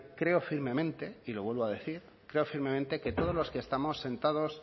creo firmemente y lo vuelvo a decir creo firmemente que todos los que estamos sentados